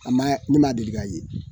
A ma ne ma deli ka ye